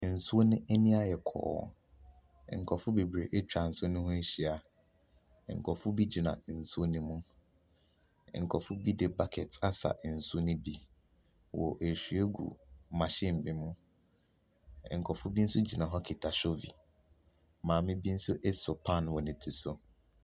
Nsuo no ani ayɛ kɔɔ. Nkurɔfo bebree atwa nsuo no ho ahyia. Nkurɔfo bi gyina nsu no mu. Nkurɔfo bi de bucket asa nsu no bi. Wɔrehwie agu maɔhin e bi mu. Nkurɔfo bi nso gyina hɔ kuta hyovi, maame bi nso so paano wɔ ne ti so.